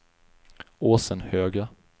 Åsenhöga